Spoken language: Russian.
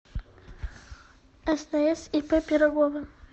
стс ип пирогова